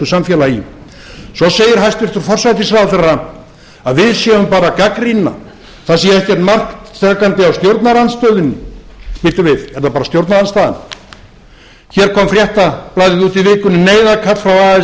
samfélagi svo segir hæstvirtur forsætisráðherra að við séum bara að gagnrýna það sé ekkert mark takandi á stjórnarandstöðunni bíddu við er það bara stjórnarandstaðan hér kom fréttablaðið út í vikunni neyðarkall frá